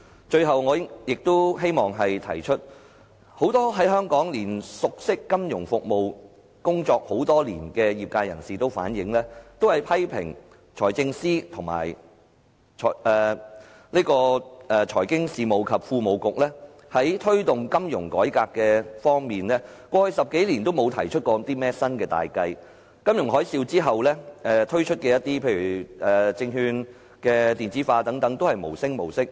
最後我亦希望指出，熟悉香港金融服務及工作多年的業界人士都反映及批評財政司及財經事務及庫務局過去10多年，在推動金融改革方面都沒有提出新的大計，而在金融海嘯之後推出的例如證券電子化等項目都是無聲無息。